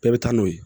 Bɛɛ bɛ taa n'o ye